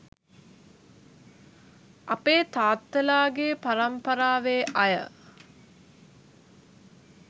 අපේ තාත්තලාගේ පරම්පරාවේ අය